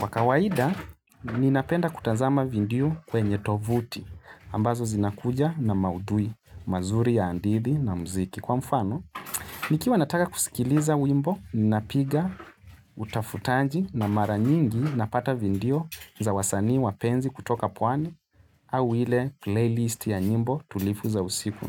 Wakawaida, ninapenda kutazama vindiyo kwenye tovuti, ambazo zinakuja na maudhui, mazuri ya andidi na mziki kwa mfano. Nikiwa nataka kusikiliza wimbo, ninapiga, utafutanji na mara nyingi napata vindiyo za wasani wapenzi kutoka pwani au ile playlist ya nyimbo tulifu za usiku.